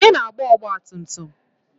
Onye na-agba ọgbatumtum m?